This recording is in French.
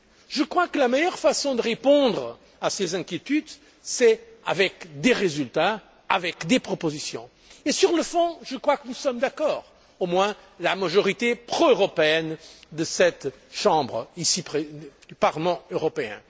Je crois que la meilleure façon de répondre à ces inquiétudes c'est avec des résultats, avec des propositions. Et sur le fond je crois que nous sommes d'accord au moins la majorité pro européenne du Parlement européen.